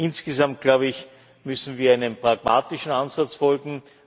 Insgesamt, glaube ich, müssen wir einem pragmatischen Ansatz folgen.